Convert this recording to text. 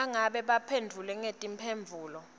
nangabe baphendvule ngetimphendvulo